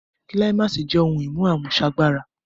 Kíláìmàsì jẹ́ ohun-ìmú àmúṣagbára